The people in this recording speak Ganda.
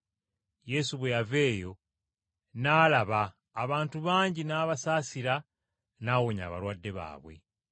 Yesu bwe yava eyo n’alaba, abantu bangi n’abasaasira n’awonya abalwadde baabwe.